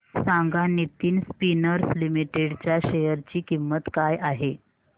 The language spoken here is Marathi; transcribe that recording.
सांगा नितिन स्पिनर्स लिमिटेड च्या शेअर ची किंमत काय आहे